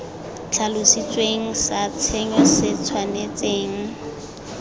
tlhalositsweng sa tshenyo se tshwanetseng